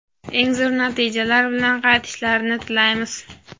eng zo‘r natijalar bilan qaytishlarini tilaymiz!.